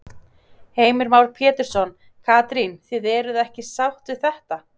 Heimir Már Pétursson: Katrín, þið eruð ekki sátt við þetta?